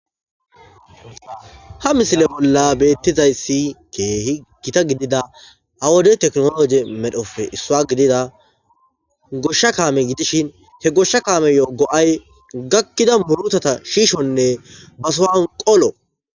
ha misile bolla beettizayssi keehi gita gidida ha wodey teknologe medhofe issua gidida goshsha kaame gidishin he goshsha kaame yogo7ay gakkida murutata shiishonne basohan qolo